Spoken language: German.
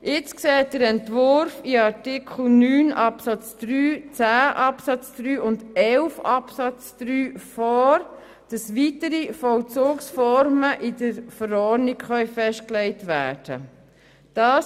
Jetzt sieht der Entwurf in Artikel 9 Absatz 3, Artikel 10 Absatz 3 und Artikel 11 Absatz 2 vor, dass weitere Vollzugsformen in der Verordnung festgelegt werden können.